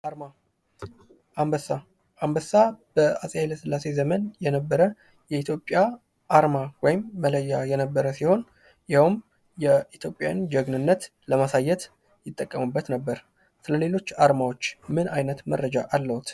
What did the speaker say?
አንበሳ፦ አንበስ በአጼ ሀይለ ስላሴ የነበር አርማ ወይም መለያ የነበር ሲሆን ይሄውም የኢትዮጵያን ጀግንነት ለማሳየት ይጠቀሙበት ነበር። ስለሌሎች አርማዎች ምን አይነት መረጃ አለዎት?